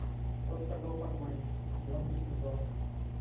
что сказал покойник четвертый сезон